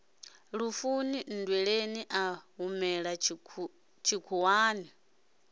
lufuni nndweleni a humela tshikhuwani